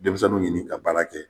Denmisɛnnu ɲini ka baara kɛ